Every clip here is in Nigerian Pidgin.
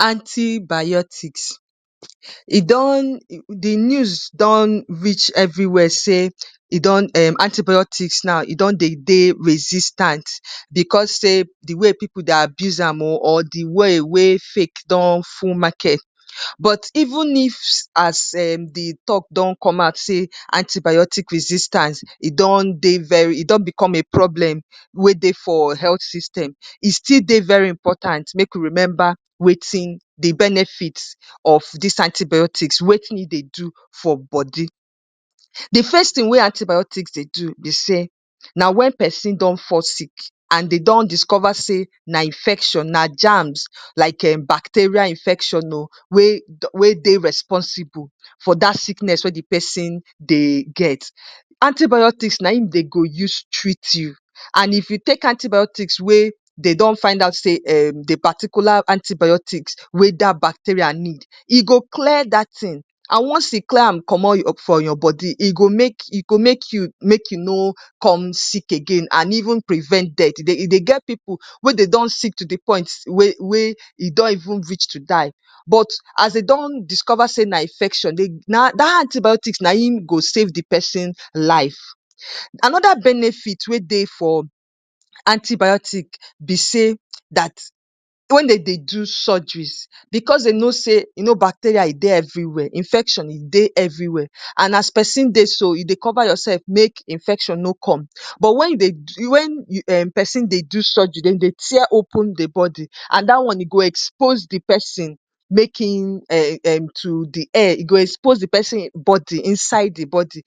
‎"antibiotics e don di news don reach everiwia say e don em antipyotics now e don dey resistant becos say di way pipo dey abuse am o or di way wey fake don full market but even if as em di tok don commot say antibiotics resistance e don dey very e don become a problem wey dey for health system e still dey very important make we remember wetin de benefit of dis antibiotics wetin in dey do for body, de first tin we antibiotics dey do be say na wen pesin don fall sick and dey don discover say na infection na gams like um bacteria infection o we we dey responsible for dat sickness we de pesin dey get antibiotics naim dey go use treat u and if u take antibiotics we dey don find out say de paticular antibiotics we dat baxteria need, e go clear dat tin and once e clear am comot for your body e go make e go make u make u no come sick again and even prevent death e dey e dey get pipu we dey don sick to de point we we don even reach to die as dey don discover say na infection dat antibiotics naim go save de pesin life and benefit we dey for antibiotics be say dat wen dey de so surgeries bcos dey no say bacteria e dey everywhere infection dey everywere an as pesin dey so u dey cover yourself make infection no come but wen u dey wen oweing dey do surgery den dey tear open de body an da one e go expose de body to de um um de air e go expose de person body inside de body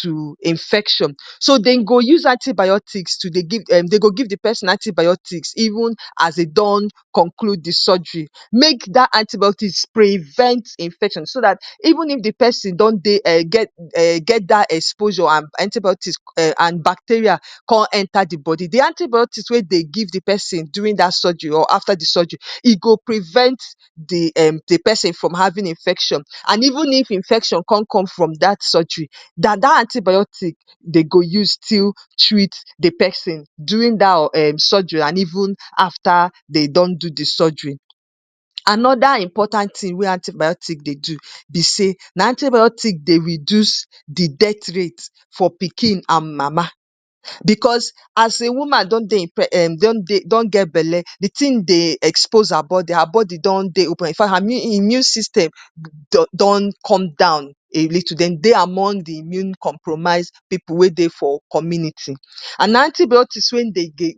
to infection so Dem go use antibiotics to dey give um dey go give de pesin antibiotics even as Dem don conclude de surgery make dat antibiotics prevent infection so dat even if de person don dey um get data get data exposure um antibiotics um bacteria come enter de body, de antibiotic we dey give dat person during de surgery or after de surgery e go prevent de um de person from having infection and even if infection con come from dating surgery na da antibiotics dey go use still treat de person during dat surgery and even after dey don do de surgery. Anoda important tin we antibiotics dey do be say na antibiotics dey reduce de death rate for pikin an mama becos as a woman don dey impre don get belle de tin dey expose her body, her body don dey open infa immune system don come down a little down dey among de immune compromise pipu we dey for community an antibiotic we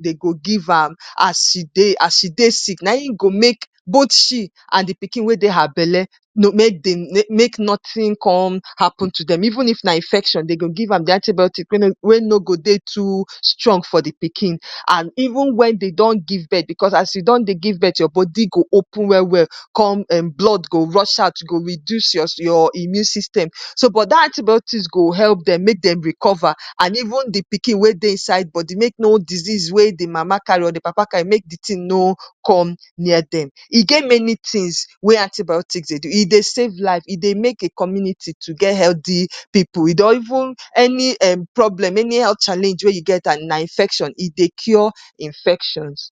Dem go give am as e dey as e dey sick naim go make both she and de pikin we dey her belle make dey no make notin come happen to Dem even if na infection dey go give am de antibiotic we no go dey too strong for de pikin and even wen dey don give birth becos your body go open welwel come um blood go rush out e go refuse your immune system so but dat antibiotics go help Dem recovery and even de oikin wen dey inside body make wetin de mama carry or de papa carry no come near Dem. E get many tins wen antibiotics dey do e dey save lives e dey make a community to get healthy pipu e don even any um problem anyhow challenge wen u get and na infection e dey cure infections. ‎